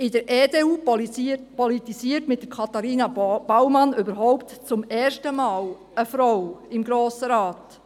In der EDU politisiert mit Katharina Baumann überhaupt zum ersten Mal eine Frau im Grossen Rat.